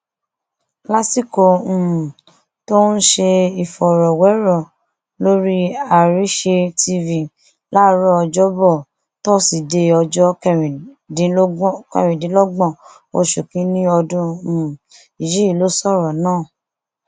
lásìkò um tó ń ṣe ìfọrọwérọ lórí àrísé tv láàárọ ọjọbọ tóṣìdẹẹ ọjọ kẹrìndínlọgbọn oṣù kínínní ọdún um yìí ló sọrọ náà